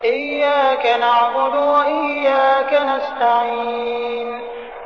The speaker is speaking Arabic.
إِيَّاكَ نَعْبُدُ وَإِيَّاكَ نَسْتَعِينُ